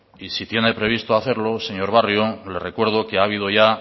y si tiene previsto hacerlo señor barrio le recuerdo que ha habido ya